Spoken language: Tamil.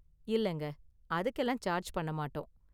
இல்லங்க, அதுக்கெல்லாம் சார்ஜ் பண்ண மாட்டோம்.